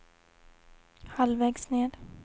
halvvägs ned